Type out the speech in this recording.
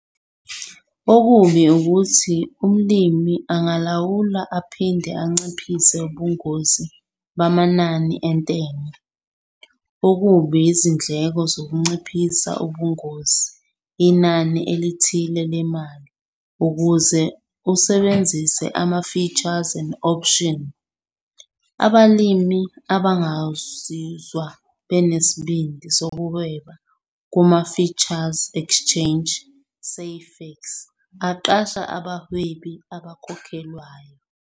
Okubi ukuthi umlimi angalawula aphinde anciphise ubungozi bamanani entengo. Okubi izindleko zokunciphisa ubungozi inani elithile lemali ukuze usebenzise ama-futures and option. Abalimi abangazizwa benesibindi sokuhweba kuma-Futures exchange, Safex, aqasha abawhebi, abakhokhelwayo.